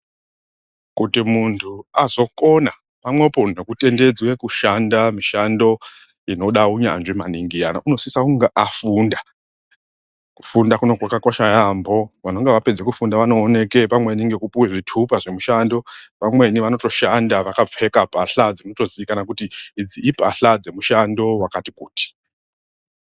Kuti munthu azokona pamwepo nekutendedzwe kushanda mishando inoda unyanzvi maningi iyana unosisa kunge afunda kufunda kuno kwakakosha yaambho vanenge vapedza kufunda vanooneke pamweni ngekupuwa zvitupa zvemushando vamweni vanotoshanda vakapfeka pahla dzinotozikanwa kuti idzi ipahla dzemushando wakati kuti.